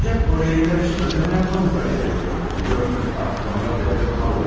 Ancaq o rehinlər üçün ödəyə yapmanız da gerekiyor, biliyorsunuz, artıq onlar dövlət malı oldu.